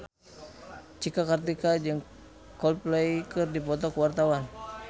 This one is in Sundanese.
Cika Kartika jeung Coldplay keur dipoto ku wartawan